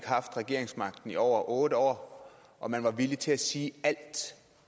haft regeringsmagten i over otte år og man var villig til at sige alt